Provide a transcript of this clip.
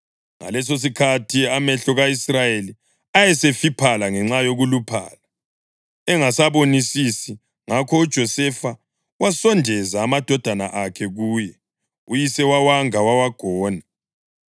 Ngalesosikhathi amehlo ka-Israyeli ayesefiphala ngenxa yokuluphala, engasabonisisi. Ngakho uJosefa wasondeza amadodana akhe kuye, uyise wawanga wawagona.